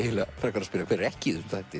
frekar að spyrja hver er ekki í